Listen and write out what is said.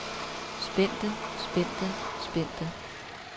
spændte spændte spændte